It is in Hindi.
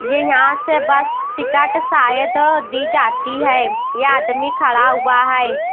ये यहां से बस टिकट शायद दी जाती है यह आदमी खड़ा हुआ है।